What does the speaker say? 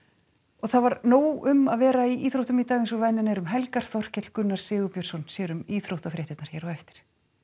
það var nóg um að vera í íþróttum í dag eins og venjan er um helgar Þorkell Gunnar Sigurbjörnsson sér um íþróttafréttirnar hér á eftir